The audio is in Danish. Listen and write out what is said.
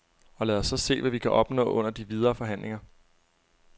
Og lad os så se, hvad vi kan opnå under de videre forhandlinger.